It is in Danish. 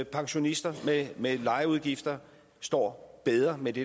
pensionister med lejeudgifter står bedre med det